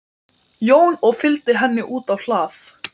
Þegar innskot bráðinnar kviku, um eða yfir